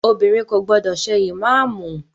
Obìnrin kò gbọdọ̀ ṣe ìmáàmù!